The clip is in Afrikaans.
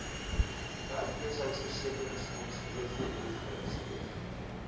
werkloosheidversekeringsfonds wvf geregistreer